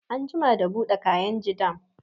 An jima da buɗe kainji dam